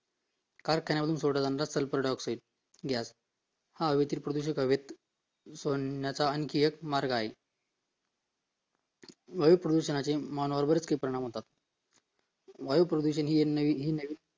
कारखाना मधून सोडला जाणारा Sulphur Dioxide gas हा हवेतील प्रदूषक हवेत सोडण्याचा आणखी एक मार्ग आहे हवे प्रदूषणाचे मानवावर किती परिणाम होतात वायू प्रदूषण हि नवीन